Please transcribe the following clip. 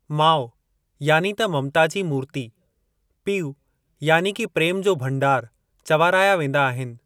माउ यानी त ममता जी मूर्ती पीउ यानी कि प्रेम जो भंडार चवाराया वेंदा आहिनि।